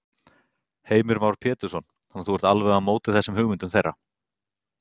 Heimir Már Pétursson: Þannig að þú ert alveg á móti þessum hugmyndum þeirra?